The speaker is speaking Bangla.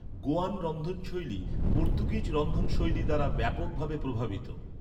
গোয়ান রন্ধনশৈলী পর্তুগিজ রন্ধনশৈলী দ্বারা ব্যাপকভাবে প্রভাবিত।